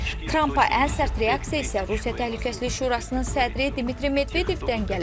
Trampa ən sərt reaksiya isə Rusiya Təhlükəsizlik Şurasının sədri Dmitri Medvedevdən gəlib.